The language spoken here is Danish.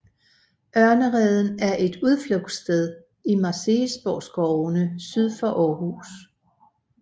Ørnereden er et udflugtssted i Marselisborgskovene syd for Aarhus